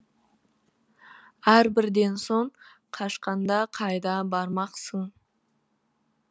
әрбірден соң қашқанда қайда бармақсың